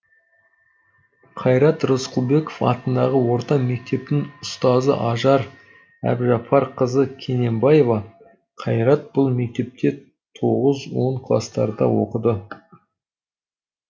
қайрат рысқұлбеков атындағы орта мектептің ұстазы ажар әбжапарқызы кененбаева қайрат бұл мектепте тоғыз он кластарда оқыды